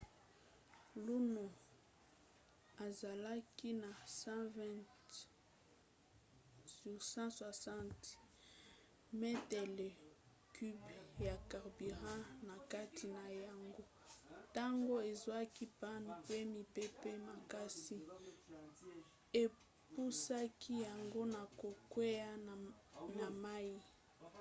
luno azalaki na 120–160 metele cubes ya carburant na kati na yango ntango ezwaki panne pe mipepe makasi epusaki yango na kokwea na mai